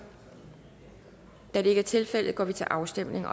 da det ikke er tilfældet går vi til afstemning